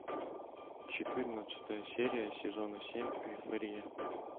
четырнадцатая серия сезона семь эйфория